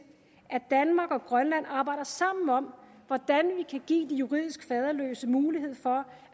at danmark og grønland arbejder sammen om hvordan vi kan give de juridisk faderløse mulighed for